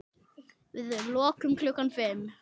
Við lokum klukkan fimm.